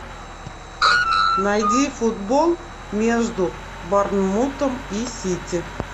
найди футбол между борнмутом и сити